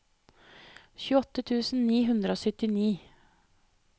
tjueåtte tusen ni hundre og syttini